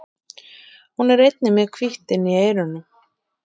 Hún er einnig með hvítt inni í eyrunum.